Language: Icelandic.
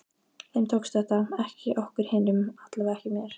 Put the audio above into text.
Þeim tókst þetta, ekki okkur hinum, allavega ekki mér.